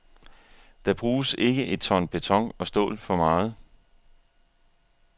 Der bruges ikke et ton beton og stål for meget.